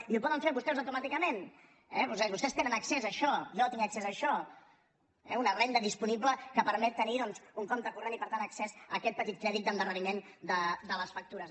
i ho poden fer vostès automàticament eh vostès tenen accés a això jo tinc accés a això eh una renda disponible que permet tenir doncs un compte corrent i per tant accés a aquest petit crèdit d’endarreriment de les factures